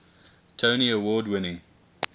tony award winning